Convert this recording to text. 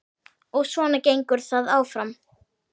Og svona gengur það áfram.